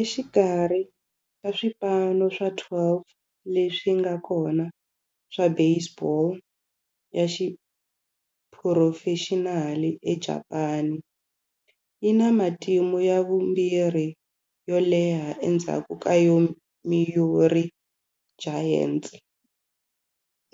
Exikarhi ka swipano swa 12 leswi nga kona swa baseball ya xiphurofexinali eJapani, yi na matimu ya vumbirhi yo leha endzhaku ka Yomiuri Giants,